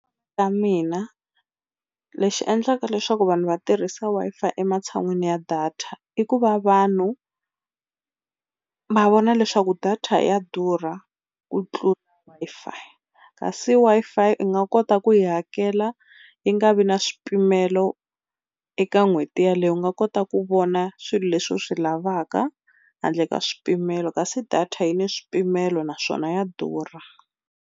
Ta mina lexi endlaka leswaku vanhu va tirhisa Wi-Fi ematshan'wini ya data i ku va vanhu va vona leswaku data ya durha ku tlula Wi-Fi, kasi Wi-Fi u nga kota ku yi hakela yi nga vi na swipimelo eka n'hweti yeleyo. U nga kota ku vona swilo leswi u swi lavaka handle ka swipimelo kasi data yi ni swipimelo naswona ya durha.